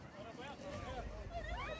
Arabaya at, arabaya at!